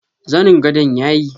Zanin gadon yayi?